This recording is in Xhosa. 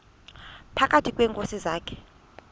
phakathi kweenkosi zakhe